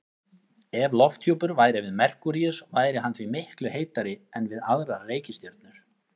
Ef lofthjúpur væri við Merkúríus væri hann því miklu heitari en við aðrar reikistjörnur.